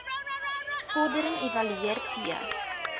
vordering evalueer t